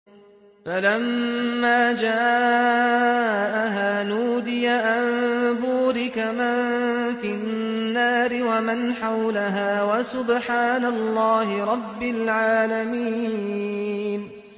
فَلَمَّا جَاءَهَا نُودِيَ أَن بُورِكَ مَن فِي النَّارِ وَمَنْ حَوْلَهَا وَسُبْحَانَ اللَّهِ رَبِّ الْعَالَمِينَ